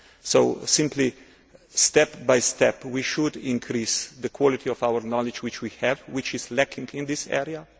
So, simply, step by step, we should increase the quality of the knowledge we have, which is lacking in this area.